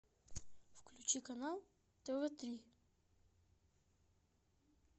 включи канал тв три